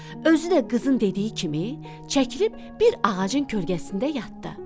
Özü də qızın dediyi kimi çəkilib bir ağacın kölgəsində yatdı.